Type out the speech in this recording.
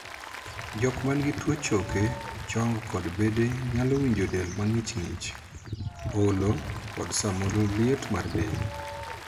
Jok man gi tuo choke chong kod bede nyalo winjo del mang'ich ng'ich, olo, kod samoro liet mar del